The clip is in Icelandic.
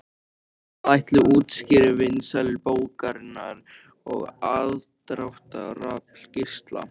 En hvað ætli útskýri vinsældir bókarinnar og aðdráttarafl Gísla?